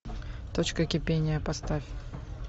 точка кипения поставь